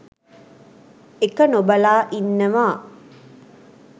එක නොබලා ඉන්නවා